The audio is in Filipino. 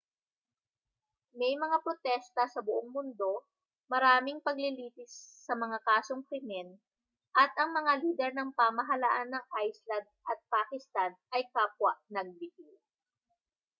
may mga protesta sa buong mundo maraming paglilitis sa mga kasong krimen at ang mga lider ng pamahalaan ng iceland at pakistan ay kapwa nagbitiw